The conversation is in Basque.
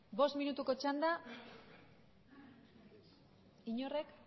bost minutuko txanda inorrek